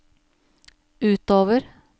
utover